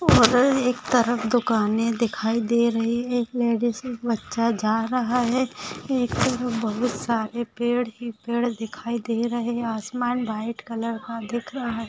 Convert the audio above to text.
और एक तरफ दुकाने दिखाई दे रही है एक लेडिज एक बच्चा जा रहा है एक तरफ बहुत सारे पेड़ ही पेड़ दिखाई दे रहे है आसमान व्हाइट कलर का दिख रहा है।